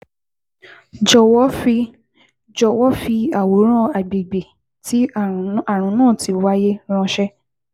Jọ̀wọ́ fi Jọ̀wọ́ fi àwòrán àgbègbè tí ààrùn náà ti wáyé ránṣẹ́